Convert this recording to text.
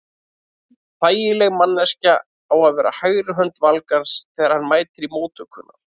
Þægileg manneskja á að vera hægri hönd Valgarðs þegar hann mætir í móttökuna.